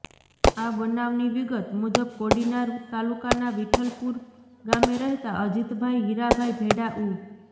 આ બનાવની વિગત મુજબ કોડીનાર તાલુકાના વિઠલપુર ગામે રહેતા અજીતભાઇ હિરાભાઇ ભેડા ઉ